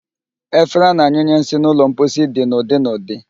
Efere a na-anyụnye nsị n'ụlọ mposi dị n'ụdị n'ụdị